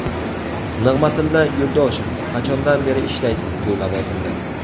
Nig‘matilla Yo‘ldoshev: Qachondan beri ishlaysiz bu lavozimda?